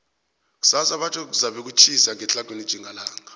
kusasa batjho kuzabe kutjhisa ngetlhagwini tjhingalanga